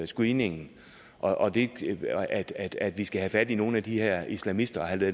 screeningen og det at at vi skal have fat i nogle af de her islamister og have